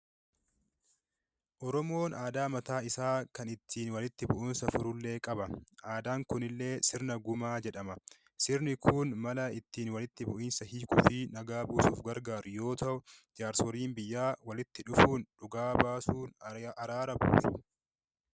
Oromoon aadaa mataa isaa kan ittiin walitti bu'insa furu illee ni qaba. Aadaan kunillee sirna gumaa jedhama. Sirni kun, mala ittiin walitti bu'insa hiikuu fi nagaa buusuuf gargaaru yoo ta'u jaarsoliin biyyaa walitti dhufuun dhugaa baasuun araara buusu.